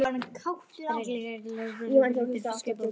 Það er líka leitun á betri fiskbúð.